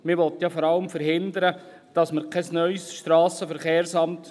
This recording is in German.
Man will vor allem verhindern, dass wir ein neues SVSA bauen.